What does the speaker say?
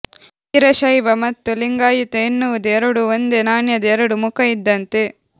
ವೀರಶೈವ ಮತ್ತು ಲಿಂಗಾಯತ ಎನ್ನುವುದು ಎರಡೂ ಒಂದೇ ನಾಣ್ಯದ ಎರಡು ಮುಖ ಇದ್ದಂತೆ